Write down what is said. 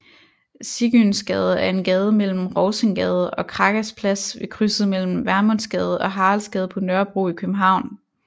Sigynsgade er en gade mellem Rovsingsgade og Krakas Plads ved krydset mellem Vermundsgade og Haraldsgade på Nørrebro i København